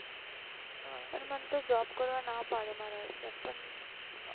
હા પણ મન તો job કરવાની ના પાડે પણ